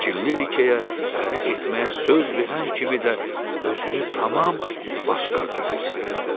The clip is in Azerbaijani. Kəkilli rikeyə ərə getməyə söz verən kimi də özünü tamam başqa cür hiss elədi.